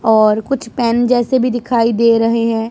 और कुछ पेन जैसे भी दिखाई दे रहे हैं।